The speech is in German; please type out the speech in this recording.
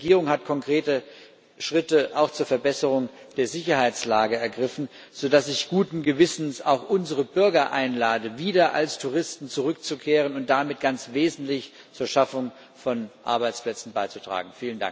Die Regierung hat konkrete Schritte auch zur Verbesserung der Sicherheitslage ergriffen, sodass ich guten Gewissens unsere Bürger einlade, wieder als Touristen zurückzukehren und damit ganz wesentlich zur Schaffung von Arbeitsplätzen beizutragen.